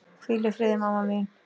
Hvíl í friði mamma mín.